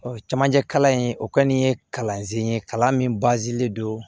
camancɛ kalan in o kɔni ye kalansen ye kalan min don